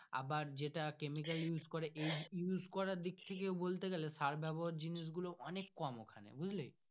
আবার যেটা chemical use করে এই use করার দিক থেকে বলতে গালে সার ব্যবহার জিনিস গুলো অনেক কম ওখানে বুজলি।